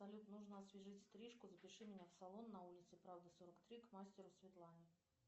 салют нужно освежить стрижку запиши меня в салон на улице правды сорок три к мастеру светлане